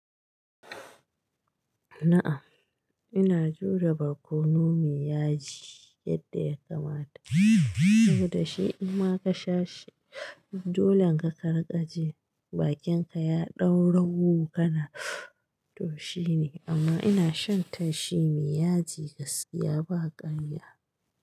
Na'am, ina jure barkono mai yaji yadda ya kamata saboda shi in ma ka sha shi, dolle ka ka riƙaji bakin ka ya ɗaurawu kana toshi ne amma ina shan tashi miyaji gaskiya ba ƙarya.